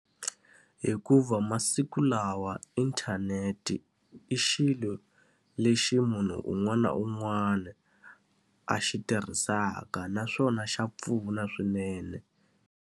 Hikuva masiku lawa inthanete i xilo lexi munhu un'wana na un'wana a xi tirhisaka naswona xa pfuna swinene.